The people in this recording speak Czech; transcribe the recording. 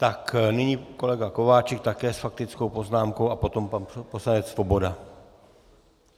Tak, nyní kolega Kováčik, také s faktickou poznámkou, a potom pan poslanec Svoboda.